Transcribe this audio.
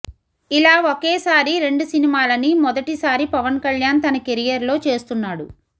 ఇలా ఒకే సారి రెండు సినిమాలని మొదటి సారి పవన్ కళ్యాణ్ తన కెరియర్ లో చేస్తున్నాడు